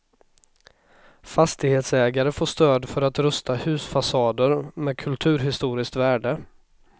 Fastighetsägare får stöd för att rusta husfasader med kulturhistoriskt värde.